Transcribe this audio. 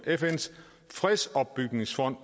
fns fredsopbygningsfond